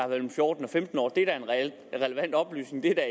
mellem fjorten og femten år det er da en relevant oplysning det er da